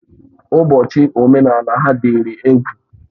Ụbọchị omenala ha dịrị egwu.